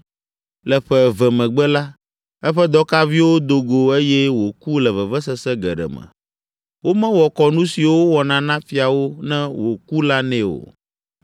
Le ƒe eve megbe la, eƒe dɔkaviwo do go eye wòku le vevesese geɖe me. Womewɔ kɔnu siwo wowɔna na fiawo ne wòku la nɛ o.